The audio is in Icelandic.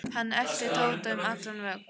Hann elti Tóta um allan völl.